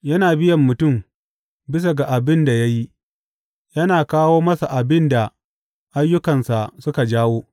Yana biyan mutum bisa ga abin da ya yi; yana kawo masa abin da ayyukansa suka jawo.